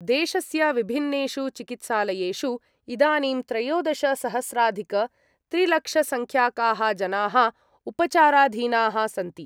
देशस्य विभिन्नेषु चिकित्सालयेषु इदानीं त्रयोदशसहस्राधिकत्रिलक्षसंख्याकाः जनाः उपचाराधीनाः सन्ति।